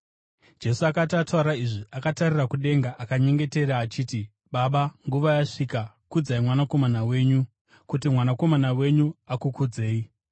Jesu akati ataura izvi, akatarira kudenga akanyengetera achiti: “Baba, nguva yasvika. Kudzai Mwanakomana wenyu, kuti Mwanakomana wenyu akukudzei.